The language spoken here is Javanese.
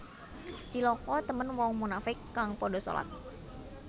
Cilaka temen wong munafiq kang padha solat